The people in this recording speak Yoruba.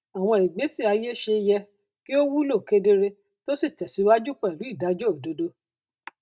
àwọn ìgbésẹ ayé ṣe yẹ kí ó wúlò kedere tó sì tẹsíwájú pẹlú ìdájọ òdodo